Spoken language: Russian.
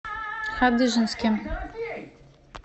хадыженске